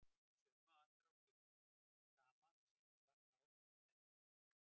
Í sömu andrá birtist dama með sítt, svart hár uppi á dekki.